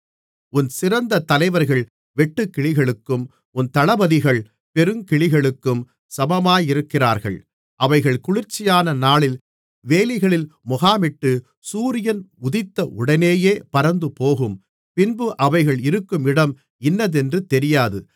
உன் சிறந்த தலைவர்கள் வெட்டுக்கிளிகளுக்கும் உன் தளபதிகள் பெருங்கிளிகளுக்கும் சமமாயிருக்கிறார்கள் அவைகள் குளிர்ச்சியான நாளில் வேலிகளில் முகாமிட்டு சூரியன் உதித்த உடனேயே பறந்துபோகும் பின்பு அவைகள் இருக்கும் இடம் இன்னதென்று தெரியாது